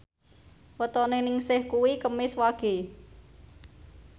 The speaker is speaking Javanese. wetone Ningsih kuwi Kemis Wage